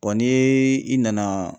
ni ye i nana.